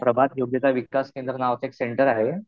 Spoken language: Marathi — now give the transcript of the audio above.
प्रभास योग्यता विकास केंद्र नावाचं एक सेंटर आहे.